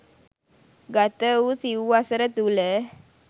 ගත වූ සිව් වසර තුළ